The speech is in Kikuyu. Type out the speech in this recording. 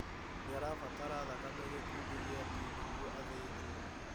Nĩarabatara thakame gĩkundi gĩa B nĩguo athĩnjwo